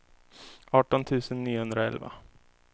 arton tusen niohundraelva